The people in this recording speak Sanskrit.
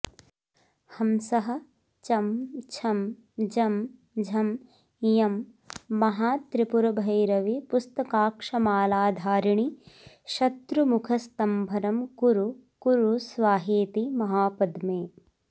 हंसः चं छं जं झं ञं महात्रिपुरभैरवि पुस्तकाक्षमालाधारिणि शत्रुमुखस्तम्भनं कुरु कुरु स्वाहेति महापद्मे